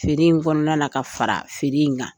Feere in kɔnɔna na ka fara feere in kan